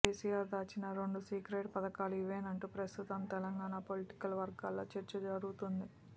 కేసీఆర్ దాచిన రెండు సీక్రెట్ పథకాలు ఇవేనంటూ ప్రస్తుతం తెలంగాణ పొలిటికల్ వర్గాల్లో చర్చ జరుగుతోంది